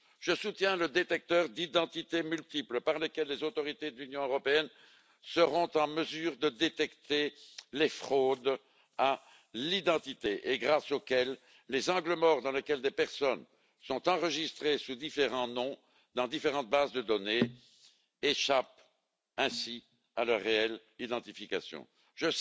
Je soutiens le détecteur d'identités multiples par lequel les autorités de l'Union européenne seront en mesure de détecter les fraudes à l'identité et grâce auquel les angles morts, dans lesquels des personnes sont enregistrées sous différents noms dans différentes bases de données et échappent ainsi à leur réelle identification, seront évités.